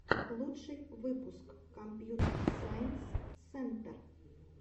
лучший выпуск компьютэр сайнс сентэр